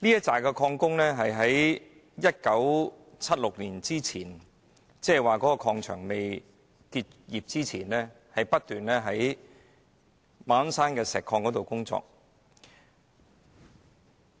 這批礦工在1976年礦場未結業前，在馬鞍山石礦場工作。